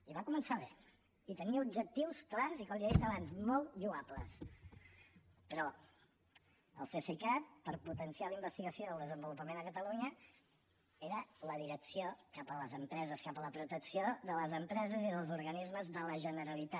i va començar bé i tenia objectius clars i com li he dit abans molt lloables però el cesicat per potenciar la investigació i el desenvolupament a catalunya era la direcció cap a les empreses cap a la protecció de les empreses i dels organismes de la generalitat